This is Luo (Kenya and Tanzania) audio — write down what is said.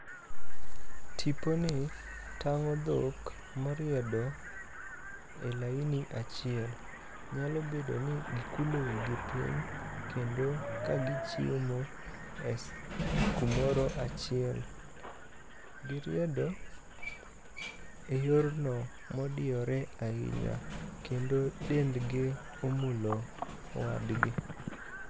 Tiponi tang'o dhok moriedo e laini achiel, nyalo bedo ni gikulo wigi piny kendo kagichiemo e kumoro achiel. Giriedo e yorno modiyore ahinya kendo dendgi omulo wadgi.